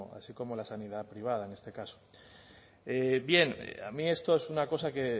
así como la sanidad privada en este caso bien a mí esto es una cosa que